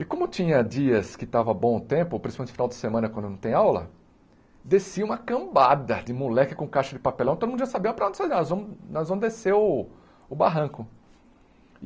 E como tinha dias que estava bom o tempo, principalmente no final de semana, quando não tem aula, descia uma cambada de moleque com caixa de papelão, todo mundo já sabia para onde nós vamos nós vamos descer o o barranco.